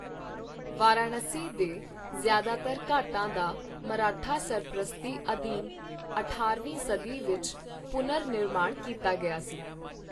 ਵਾਰਾਣਸੀ ਦੇ ਜ਼ਿਆਦਾਤਰ ਘਾਟਾਂ ਦਾ ਮਰਾਠਾ ਸਰਪ੍ਰਸਤੀ ਅਧੀਨ ਅਠਾਰਵੀਂ ਸਦੀ ਵਿੱਚ ਪੁਨਰ ਨਿਰਮਾਣ ਕੀਤਾ ਗਿਆ ਸੀ।